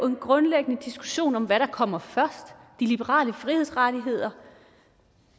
en grundlæggende diskussion om hvad der kommer først de liberale frihedsrettigheder